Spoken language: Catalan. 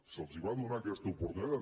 se’ls va donar aquesta oportunitat